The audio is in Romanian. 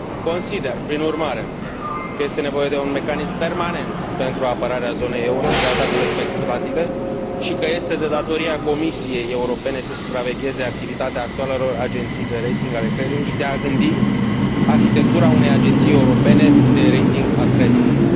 Consider, prin urmare, că este nevoie de un mecanism permanent pentru apărarea zonei euro de atacurile speculative și că este de datoria Comisiei Europene să supravegheze activitatea actualelor agenții de rating ale creditelor și de a gândi arhitectura unei agenții europene de rating a creditului.